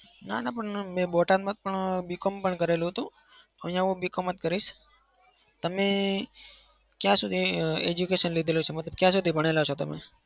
ના ના પણ બોટાદમાં મેં B com કરેલું હતું. અહિયાં હું B com જ કરીશ. તમે ક્યાં સુધી education લીધેલું છે? મતલબ ક્યાં સુધી ભણેલા છો તમે?